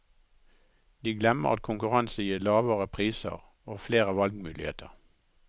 De glemmer at konkurranse gir lavere priser og flere valgmuligheter.